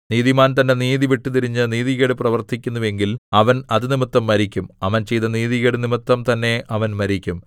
നീതിമാൻ തന്റെ നീതി വിട്ടുതിരിഞ്ഞ് നീതികേട് പ്രവർത്തിക്കുന്നുവെങ്കിൽ അവൻ അതുനിമിത്തം മരിക്കും അവൻ ചെയ്ത നീതികേടുനിമിത്തം തന്നെ അവൻ മരിക്കും